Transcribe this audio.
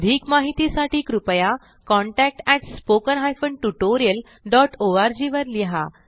अधिक माहितीसाठी कृपया contact at spoken hyphen tutorial dot O R G वर लिहा